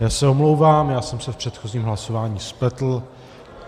Já se omlouvám, já jsem se v předchozím hlasování spletl.